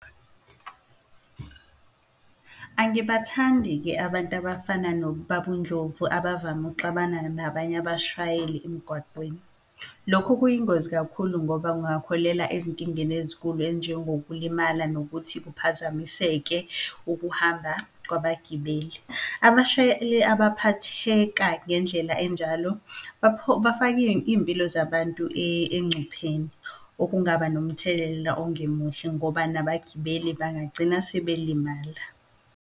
Angibathandi-ke abantu abafana nobaba uNdlovu abavame ukuxabana nabanye abashayeli emgwaqweni. Lokhu kuyingozi kakhulu ngoba kungaholela ezinkingeni ezinkulu ezinjengokulimala nokuthi kuphazamiseke ukuhamba kwabagibeli. Abashayeli abaphatheka ngendlela enjalo bafaka iyimpilo zabantu encupheni, okungaba nomthelela ongemuhle ngoba nabagibeli bangagcina sebelimala.